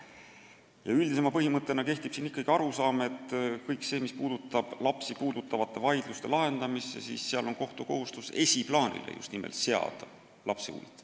Ja üldisema põhimõttena kehtib ikkagi arusaam, et kui tegu on lapsi puudutavate vaidluste lahendamisega, siis on kohtu kohustus seada esiplaanile just nimelt laste huvid.